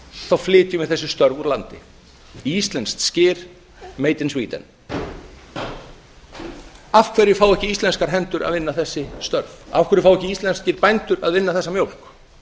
þá flytjum við þessi störf úr landinu íslenskt skyr made in sweden af hverju fá ekki íslenskar hendur að vinna þessi störf af hverju fá ekki íslenskir bændur að vinna þessa mjólk